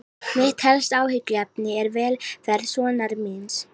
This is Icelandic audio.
Mitt helsta áhyggjuefni er velferð sonar míns.